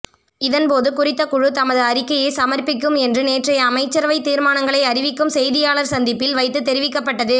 இதன்போது குறித்த குழு தமது அறிக்கையை சமர்ப்பிக்கும் என்று நேற்றைய அமைச்சரவை தீர்மானங்களை அறிவிக்கும் செய்தியாளர் சந்திப்பில் வைத்து தெரிவிக்கப்பட்டது